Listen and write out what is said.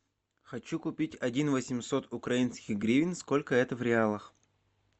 хочу купить один восемьсот украинских гривен сколько это в реалах